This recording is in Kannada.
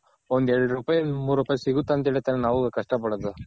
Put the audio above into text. ಒಂದ್ ಎರಡ್ ರೂಪಾಯಿ ಮೂರ್ ರೂಪಾಯಿ ಸಿಗುತ್ತೆ ಅಂತ ಹೇಳಿ ತಾನೆ ನಾವು ಕಷ್ಟ ಪಡೋದು.